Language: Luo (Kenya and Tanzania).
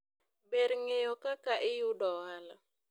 ber ng'eyo kaka iyudo ohala